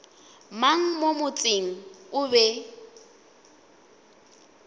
mang mo motseng o be